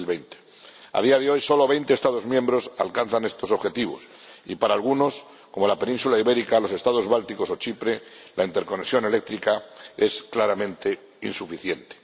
2020. A día de hoy, solo veinte Estados miembros alcanzan estos objetivos y para algunos, como la Península Ibérica, los Estados bálticos o Chipre, la interconexión eléctrica es claramente insuficiente.